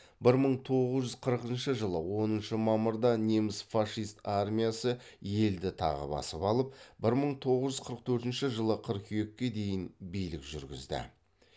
бір мың тоғыз жүз қырқышы жылы оныншы мамырда неміс фашист армиясы елді тағы басып алып бір мың тоғыз жүз қырық төртінші қыркүйекке дейін билік жүргізді